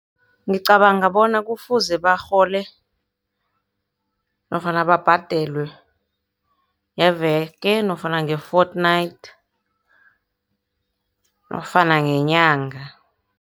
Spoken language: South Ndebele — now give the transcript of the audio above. Ngicabanga bona kufuze barhole nofana babhadelwe ngeveke nofana nge-fortnight, nofana ngenyanga.